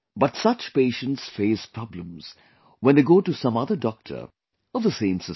But such patients face problems when they go to some other doctor of the same system